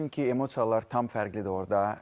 Çünki emosiyalar tam fərqlidir orda.